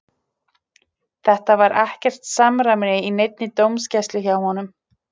Það var ekkert samræmi í neinni dómgæslu hjá honum.